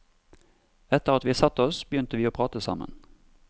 Etter at vi satte oss begynte vi å prate sammen.